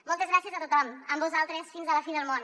moltes gràcies a tothom amb vosaltres fins a la fi del món